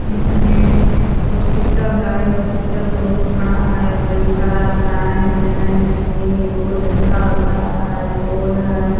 इस में हॉस्पिटल है | हॉस्पिटल बहुत बड़ा है कई तालाब बनाये गये हैं | देखने मे बहुत अच्छा लग रहा है | पोल है |